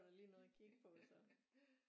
Da lige noget at kigge på så